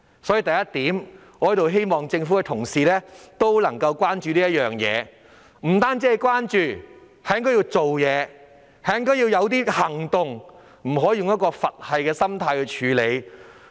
所以，我希望政府相關部門關注這事，更要做實事，採取相應行動，而不是用"佛系"心態處理。